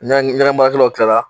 N ɲɛgɛn baarkɛlaw kilala.